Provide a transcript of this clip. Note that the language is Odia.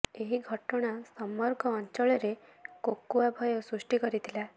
ଏହି ଘଟଣା ସମଗ୍ର ଅଞ୍ଚଳରେ କୋକୁଆ ଭୟ ସୃଷ୍ଟି କରିଥିଲା